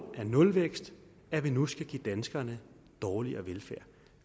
af nulvæksten at man nu skal give danskerne dårligere velfærd